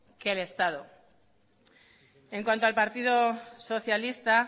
que el estado en cuanto al partido socialista